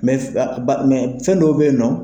fɛn dɔw beyinɔ.